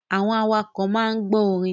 Àwọn awakọ̀ máa ń gbọ orin.